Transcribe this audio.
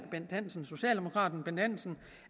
socialdemokraten bent hansen